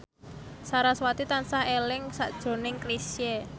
sarasvati tansah eling sakjroning Chrisye